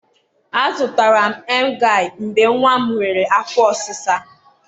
a zụtara m em gai mgbe nwa m nwere afọ ọsịsa